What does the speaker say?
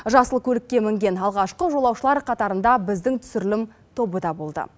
жасыл көлікке мінген алғашқы жолаушылар қатарында біздің түсірілім тобы да болды